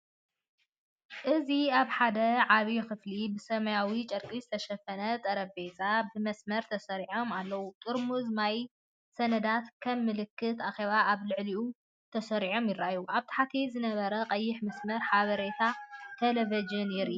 እዚ ኣብ ሓደ ዓቢ ክፍሊ ብሰማያዊ ጨርቂ ዝተሸፈኑ ጠረጴዛታት ብመስርዕ ተሰሪዖም ኣለው፤ ጥርሙዝ ማይን ሰነዳትን ከም ምልክት ኣኼባ ኣብ ልዕሊኦም ተሰሪዖም ይረኣዩ። ኣብ ታሕቲ ዝነበረ ቀይሕ መስመር ሓበሬታ ቴሌቪዥን የርኢ ኣሎ።